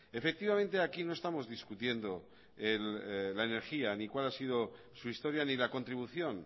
efectivamente aquí no estamos discutiendo la energía ni cuál ha sido su historia ni la contribución